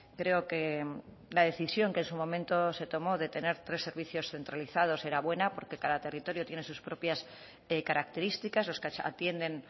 creo que la decisión que en su momento se tomó de tener tres servicios centralizados era buena porque cada territorio tiene sus propias características los que atienden